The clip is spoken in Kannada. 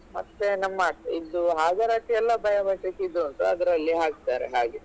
ಮತ್ತೆ ನಮ್ಮ ಇದು ಹಾಜರಾತಿ ಎಲ್ಲ biometric ಇದು ಉಂಟು ಅದಲ್ಲಿ ಹಾಕ್ತಾರೆ ಹಾಗೆ.